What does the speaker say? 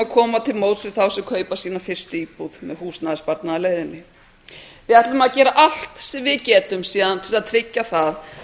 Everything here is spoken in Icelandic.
koma til móts við þá sem kaupa sína fyrstu íbúð með húsnæðissparnaðarleiðinni við ætlum að gera allt sem við getum til að tryggja það